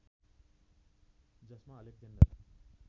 जसमा अलेक्जेन्डर